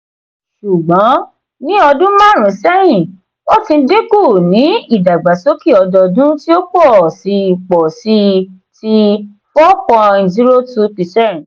ṣùgbọ́n ní ọdún maarun sẹ́yìn ó ti dínkù ní ìdàgbàsókè ọdọọdún tí ó pọ̀ sí pọ̀ sí i ti -4.02 percent.